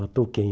Matou quem?